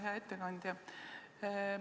Hea ettekandja!